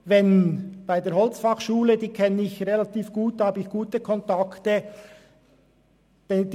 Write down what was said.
Die HF Holz in Biel kenne ich gut, ich habe gute Kontakte dorthin.